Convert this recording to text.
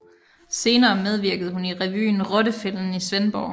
Senere medvirkede hun i revyen Rottefælden i Svendborg